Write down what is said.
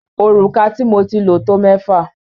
Òrùka tí mo ti lo tó mẹ́fà.